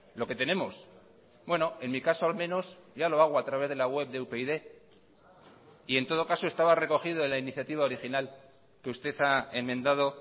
lo que tenemos bueno en mi caso al menos ya lo hago a través de la web de upyd y en todo caso estaba recogido en la iniciativa original que usted ha enmendado